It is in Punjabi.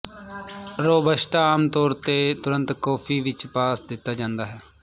ਰੌਬਸਟਾ ਆਮ ਤੌਰ ਤੇ ਤੁਰੰਤ ਕੌਫੀ ਵਿੱਚ ਪਾ ਦਿੱਤਾ ਜਾਂਦਾ ਹੈ